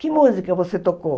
Que música você tocou?